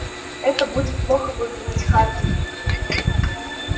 это будет плохо выглядеть хардин